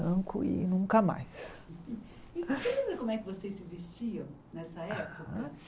Tranco e nunca mais Você lembra como é que vocês se vestiam nessa época